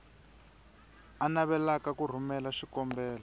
a navelaka ku rhumela xikombelo